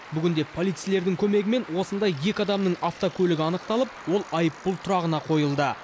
бүгінде полицейлердің көмегімен осындай екі адамның автокөлігі анықталып ол айыппұл тұрағына қойылды